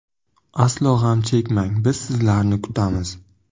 Aslo g‘am chekmang biz sizlarni kutamiz.